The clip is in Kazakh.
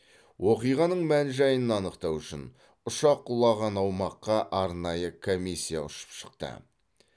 оқиғаның мән жайын анықтау үшін ұшақ құлаған аумаққа арнайы комиссия ұшып шықты